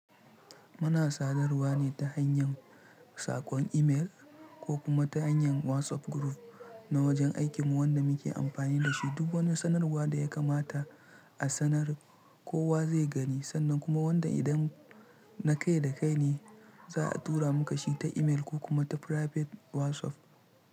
Muna sadarwa ne ta hanyar saƙon email ko kuma ta hanyar WhatsApp group na wajen aikinmu wanda muke amfani da shi. Duk wani sanarwa da ya kamata a sanar kowa zai gani sannan kuma wanda idan na kai da kai ne za a tura muka shi ta email ko kuma ta private WhatsApp.